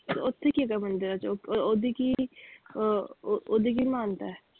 ਓਥੇ ਕੀ ਹੈਗਾ ਮੰਦਿਰਾਂ ਚ ਉੱਪਰ ਓਹਦੀ ਕੀ ਅਹ ਓਹਦੀ ਕੀ ਮਾਨਤਾ ਹੈ।